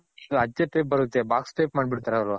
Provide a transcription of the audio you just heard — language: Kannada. ಅಚ್ಚೆ type ಬರುತ್ತೆ box type ಮಾಡ್ಬಿಡ್ತಾರೆ ಅವರು .